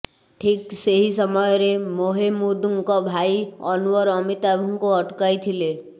ଠିକ୍ ସେହି ସମୟରେ ମେହେମୁଦଙ୍କ ଭାଇ ଅନୱର ଅମିତାଭଙ୍କୁ ଅଟକାଇଥିଲେ